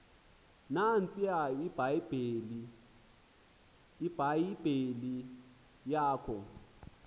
nantsiya ibhayibhile yakho